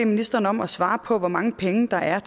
ministeren om at svare på hvor mange penge der er